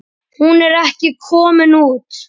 Hún er ekki komin út.